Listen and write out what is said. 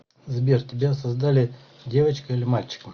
сбер тебя создали девочкой или мальчиком